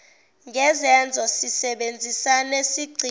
ngezenzo sisebenzisane sigcine